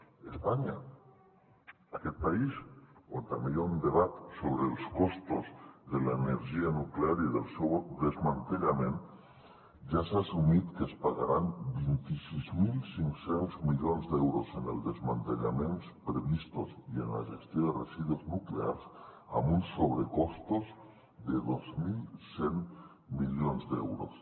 a espanya aquest país on també hi ha un debat sobre els costos de l’energia nuclear i del seu desmantellament ja s’ha assumit que es pagaran vint sis mil cinc cents milions d’euros en els desmantellaments previstos i en la gestió de residus nuclears amb uns sobrecostos de dos mil cent milions d’euros